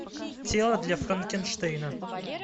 тело для франкенштейна